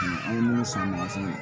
An ye minnu san mugan fɛnw na